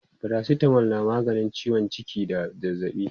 paracetamol na maganin ciwon jiki da zazzaɓi